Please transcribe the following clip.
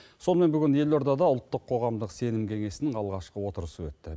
сонымен бүгін елордада ұлттық қоғамдық сенім кеңесінің алғашқы отырысы өтті